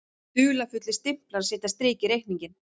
Dularfullir stimplar setja strik í reikninginn